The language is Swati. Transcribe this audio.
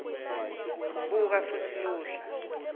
buka futsi luhla